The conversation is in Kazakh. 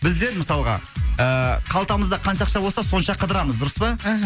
біздер мысалға ы қалтамызда қанша ақша болса сонша қыдырамыз дұрыс па мхм